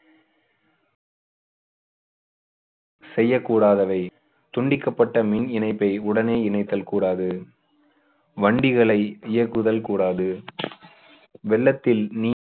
செய்யக்கூடாதவை துண்டிக்கப்பட்ட மின் இணைப்பை உடனே இணைத்தல் கூடாது வண்டிகளை இயக்குதல் கூடாது வெள்ளத்தில் நீ~